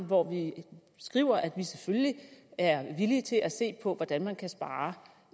hvor vi skriver at vi selvfølgelig er villige til at se på hvordan man kan spare